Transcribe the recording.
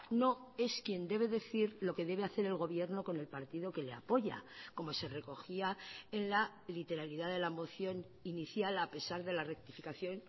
no es quien debe decir lo que debe hacer el gobierno con el partido que le apoya como se recogía en la literalidad de la moción inicial a pesar de la rectificación